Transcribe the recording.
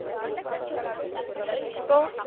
இப்போ